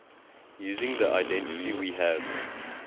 using the identity we have